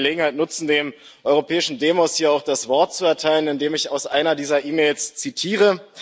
Ich möchte die Gelegenheit nutzen, dem europäischen Demos hier auch das Wort zu erteilen, indem ich aus einer dieser E Mails zitiere.